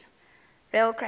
rail crash killed